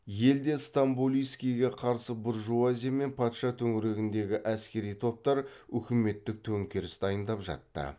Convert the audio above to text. елде стамболийскийге қарсы буржуазия мен патша төңірегіндегі әскери топтар үкіметтік төңкеріс дайындап жатты